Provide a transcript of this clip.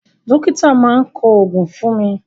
Dókítà máa ń kọ oògùn fún ni